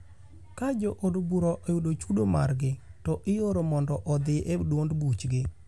Ka jo od bura oyudo chudo margi, to iooro mondo odhi e duond buchgi.